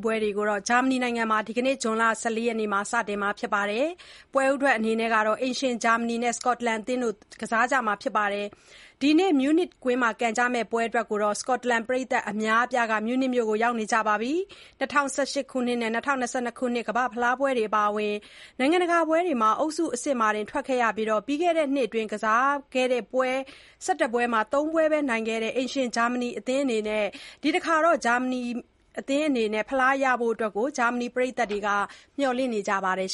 ပွဲတွေကို ဂျာမနီနိုင်ငံမှာ ဒီနေ့ ဇွန်လ ၁၄ ရက်နေ့မှာ စတင်မှာဖြစ်ပြီး ပွဲဦးထွက် အိမ်ရှင်ဂျာမနီနဲ့ စကော့တလန်အသင်းတို့ ကစားကြမှာဖြစ်ပါတယ်။ ဒီနေ့ Munich (မြူးနစ်) ကွင်းမှာ ကန်ကြမဲ့ပွဲအတွက် စကော့တလန်ပရိတ်သတ်အများအပြားလည်း မြူးနစ်မြို့မှာရောက်နေကြပါတယ်။ ၂၀၁၈ နဲ့ ၂၀၂၂ ခုနှစ်ကမ္ဘာ့ဖလားပွဲတွေအပါအဝင် နိုင်ငံတကာပွဲတွေမှာ အုပ်စုအဆင့်မှာတင် ထွက်ခဲ့ရသလို ပြီးခဲ့တဲ့နှစ်အတွင်းကစားခဲ့တဲ့ ပွဲပေါင်း ၁၁ ပွဲမှာ ၃ ပွဲသာနိုင်ခဲ့တဲ့ အိမ်ရှင် ဂျာမနီအသင်းအနေနဲ့ ဒီတခါတော့ ချန်ပီယံဖြစ်ဖို့ ဂျာမနီပရိသတ်တွေ မျှော်လင့်နေကြပါတယ်